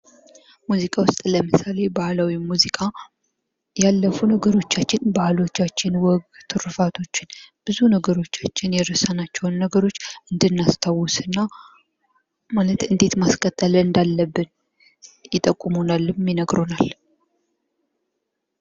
ሙዚቃ ውስጥ ለምሳሌ ባህላዊ ሙዚቃ ያለፉ ነገሮቻችን ባህሎቻችን ወጎ ትርፋቶች ብዙ ነገሮቻችን የረሳናቸው ነገሮቻችን እንድናስታውስ እና ማለት እንዴት ማስቀጠል እንዳለብን ይጠቁሙናልም ይነግሩናል ::